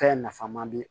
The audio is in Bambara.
Fɛn nafama di